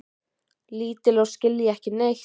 Lítil og skilja ekki neitt.